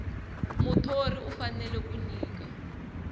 muthori u fanele ku nyika